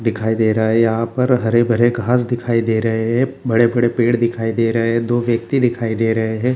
दिखाई दे रहा है यहाँ पर हरे-भरे घास दिखाई दे रहें हैं बड़े-बड़े पेड़ दिखाई दे रहें हैं दो व्यक्ति दिखाई दे रहें हैं।